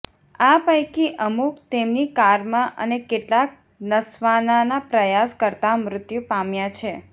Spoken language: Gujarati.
આ પૈકી અમુક તેમની કારમાં અને કેટલાક નસવાનાના પ્રયાસ કરતાં મૃત્યુ પામ્યા છે